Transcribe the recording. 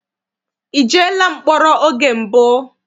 I jeela mkpọrọ oge mbụ?